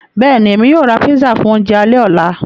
Bẹ́ẹ̀ni, Èmi yóò rá pízzà fún ọ̀unjẹ̀ àlẹ̀-ọlá.